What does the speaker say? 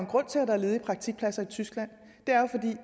grund til at der er ledige praktikpladser i tyskland